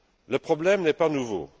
Le problème n'est pas nouveau.